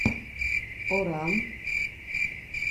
оран